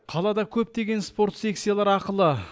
қалада көптеген спорт секциялары ақылы